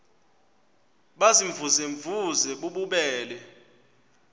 baziimvuze mvuze bububele